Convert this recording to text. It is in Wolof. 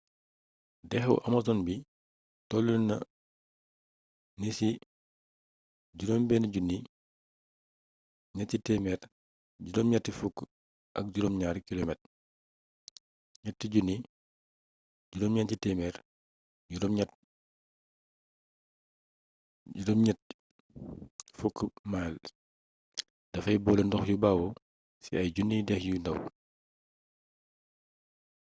dexu amazon bi toluna ni ci 6,387km 3,980 miles. dafay boole ndox yu bawoo ci ay juniy dex yu ndaw